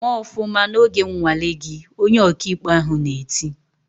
"Mee ofụma n'oge nnwale gị!" Onye ọkaikpe ahụ na-eti.